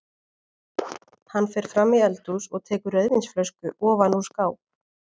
Hann fer fram í eldhús og tekur rauðvínsflösku ofan úr skáp.